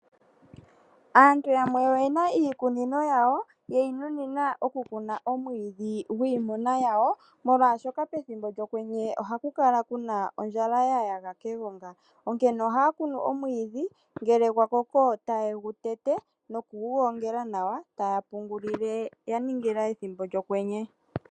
Aantu yamwe oye na iikunino yawo ye yi nunina oku kuna omwiidhi gwiimuna yawo, molwaashoka pethimbo lyokwenye oha ku kala ku na ondjala ya yaga kegonga, onkene ohaa kunu omwiidhi, ngele gwa koko ta ye gu tete, noku gu gongela nawa, ta ya pungulile, ya ningila ethimbo lyokwenye.